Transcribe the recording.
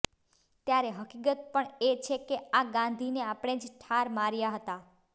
ત્યારે હકીકત પણ એ છે કે આ ગાંધીને આપણે જ ઠાર માર્યા હતાં